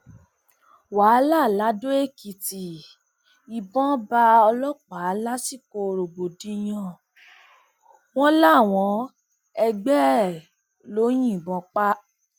wàhálà ladọèkìtì ìbọn bá ọlọpàá lásìkò rògbòdìyàn wọn làwọn ẹgbẹ ẹ ló yìnbọn pa á